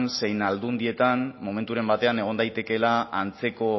zein aldundietan momenturen batean egon daitekeela antzeko